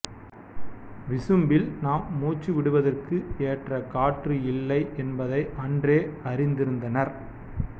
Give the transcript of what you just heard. விசும்பில் நாம் மூச்சு விடுவதற்கு எற்ற காற்று இல்லை என்பதை அன்றே அறிந்திருந்தனர்